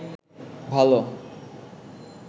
ভালো